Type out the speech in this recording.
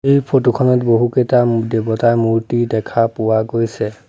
এই ফটোখনত বহুকেইটা দেৱতাৰ মূৰ্তি দেখা পোৱা গৈছে।